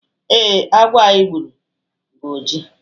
ee, agwọ anyi gburu bu oji